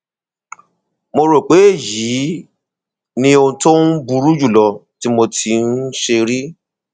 mo rò pé èyí ni ohun tó um burú jùlọ tí mo tíì ṣe um rí